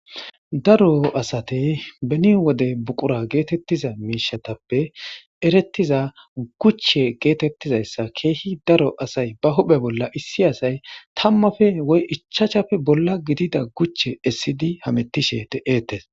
Daro asati beni wode buqura gettetiza miishatappe erettiza guchche gettetizayssa keehi daro asay ba huphphe bolla issi asay tammappe woy ichachappe bolla giddida guche essidi hammetishe de'etes.